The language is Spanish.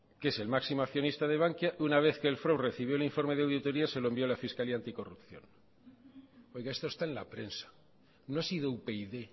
que es el máximo accionista de bankia una vez que el frob recibió el informe de auditoría se lo envió a la fiscalía anticorrupción oiga esto está en la prensa no ha sido upyd